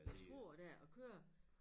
Ved Struer dér og kører